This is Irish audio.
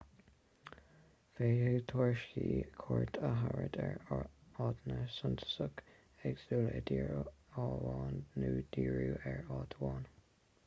féadfaidh turasóirí cuairt a thabhairt ar áiteanna suntasacha éagsúla i dtír amháin nó díriú ar áit amháin